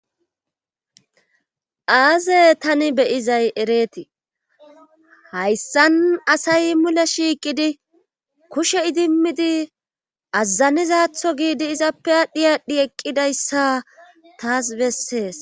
Aaze tani beyizay ereetii hayssan asay mule shiiqidi kushe idimmidi azazanizatho giidi izappe aadhdhi aadhdhi eqqidayssa taas bessees.